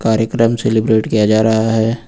कार्यक्रम सेलिब्रेट किया जा रहा है।